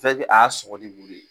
Fɛ ke a y'a sɔgɔ ni muru ye